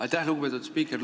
Aitäh, lugupeetud spiiker!